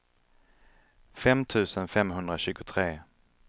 fem tusen femhundratjugotre